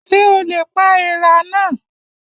Ṣé o lè pa èèrà náà?